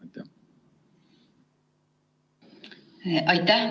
Aitäh!